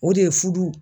O de ye furu